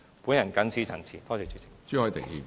我謹此陳辭，多謝主席。